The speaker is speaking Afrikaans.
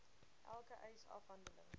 elke eis afhandeling